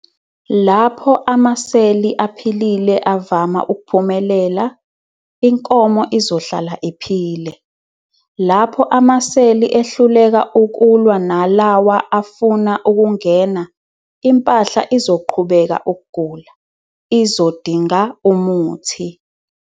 Lapho amaseli aphilile avama ukuphumelela, inkomo izohlala iphile. Lapho amaseli ehluleka ukulwa nalawa afuna ukungena, impahla izoqhubeka ukugula, izodinga umuthi.